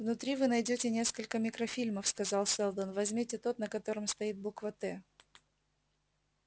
внутри вы найдёте несколько микрофильмов сказал сэлдон возьмите тот на котором стоит буква т